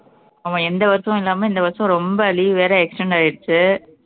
ஆமா எந்த வருஷமும் இல்லாம இந்த வருஷம் ரொம்ப leave வேற extend ஆயிருச்சு